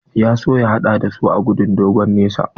Ya so ya haɗa da su a gudun dogon nesa.